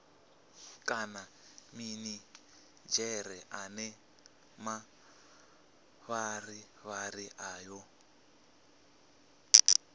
kana minidzhere ane mavharivhari ayo